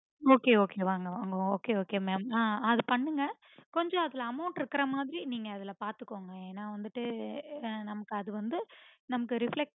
okay okay வாங்க வாங்க okay okay mam அஹ் அது பண்ணுங்க கொஞ்சம் amount இருக்க மாதிரி நீங்க அதுல பாத்துக்கோங்க ஏன்ன வந்துட்டு நமக்கு அது வந்து நமக்கு reflect